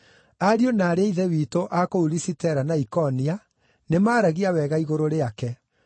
Ariũ na aarĩ a Ithe witũ a kũu Lisitera na Ikonia nĩmaragia wega igũrũ rĩake.